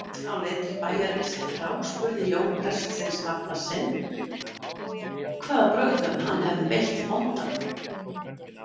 Á leið til bæjarins þráspurði Jón prestsins nafna sinn hvaða brögðum hann hefði beitt bóndann.